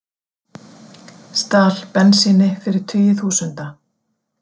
Stal bensíni fyrir tugi þúsunda